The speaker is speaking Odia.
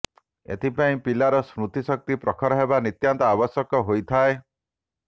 ଏଥିପାଇଁ ପିଲାର ସ୍ମୃତିଶକ୍ତି ପ୍ରଖର ହେବ ନିତ୍ୟାନ୍ତ ଆବଶ୍ୟକ ହୋଇଥାଏ